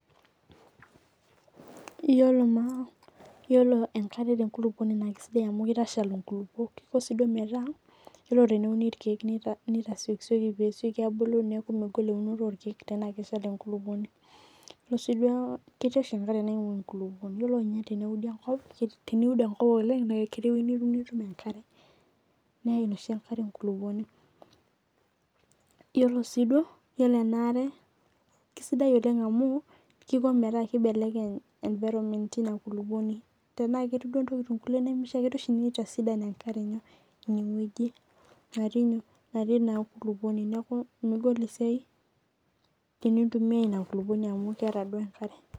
Yiolo maa enkare te nkulupuoni kisidai amuu kitashal inkulupuok kiko sii duo meeta ore teneuni irkeek nitasiokisioki pee esioki abulu neeku megol eunoto oo irkeek tena keshal enkolupuoni. Ore isii duo keetii oshi enkare naingua enkulupuoni ore ninye teneudi enkop oleng' na aketii eweji nitum enkare neeim oshi enkare enkulupuoni iyiolo sii duo iyiolo ena are kisidai oleng' amu kiko metaa kibeleky environment ina kulupuoni. Tenaa ketij duo intokitin kulie oshi nemishaikiono nitisidan enkare inweji naatii nyoo natii ina kulupuoni. Neeku megol inyok megol esiai tenintumia ina kulupuoni amuu keeta duo enkare.